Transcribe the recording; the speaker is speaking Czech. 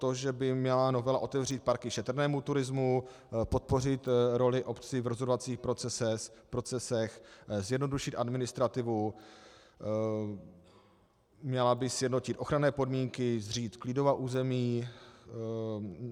To, že by měla novela otevřít parky šetrnému turismu, podpořit roli obcí v rozhodovacích procesech, zjednodušit administrativu, měla by sjednotit ochranné podmínky, zřídit klidová území.